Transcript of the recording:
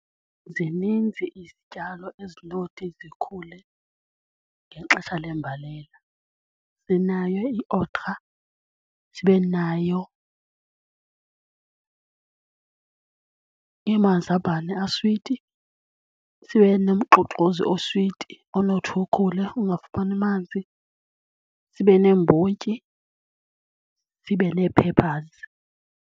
Zininzi izityalo ezinothi zikhule ngexesha lembalela. Sinayo i-okra, sibe nayo amazambane aswiti, sibe nomxoxozi oswiti onothi ukhule ungafumani manzi, sibe neembotyi, sibe nee-peppers.